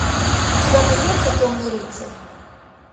у тебя найдется темный рыцарь